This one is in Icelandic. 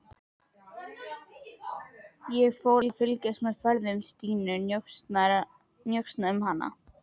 Ég fór að fylgjast með ferðum Stínu, njósna um hana.